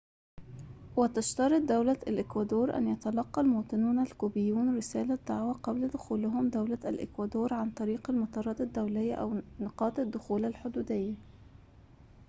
وتشترط دولة الإكوادور أن يتلقى المواطنون الكوبيون رسالة دعوةٍ قبل دخولهم دولة الإكوادور عن طريق المطارات الدوليّة أو نقاط الدخول الحدوديّة